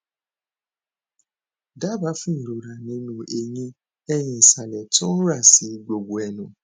dábàá fún ìrora nínú eyín ẹhin ìsàlẹ tó ń ra sí gbogbo ẹnu